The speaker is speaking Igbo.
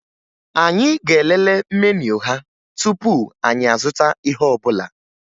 Anyị ga-elele meniu ha tupu anyị azụta ihe ọbụla